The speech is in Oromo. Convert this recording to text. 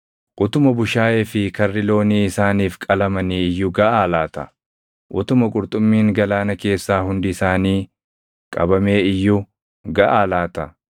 Utuma bushaayee fi karri loonii isaaniif qalamanii iyyuu gaʼaa laata? Utuma qurxummiin galaana keessaa hundi isaanii qabamee iyyuu gaʼaa laata?”